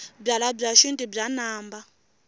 byalwabya xintu bya namba